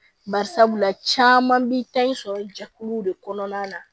Barisabula caman bi taa i sɔrɔ jɛkuluw de kɔnɔna na